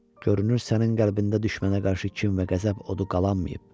"Görünür sənin qəlbində düşmənə qarşı kin və qəzəb odu qalanmayıb.